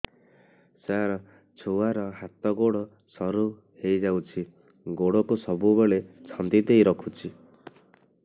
ସାର ଛୁଆର ହାତ ଗୋଡ ସରୁ ହେଇ ଯାଉଛି ଗୋଡ କୁ ସବୁବେଳେ ଛନ୍ଦିଦେଇ ରଖୁଛି